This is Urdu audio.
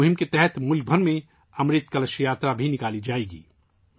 اس مہم کے تحت ملک بھر میں 'امرت کلش یاترا' بھی نکالی جائے گی